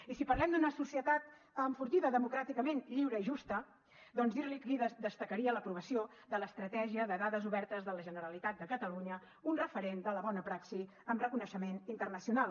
i si parlem d’una societat enfortida democràticament lliure i justa doncs dir li que destacaria l’aprovació de l’estratègia de dades obertes de la generalitat de catalunya un referent de la bona praxi amb reconeixement internacional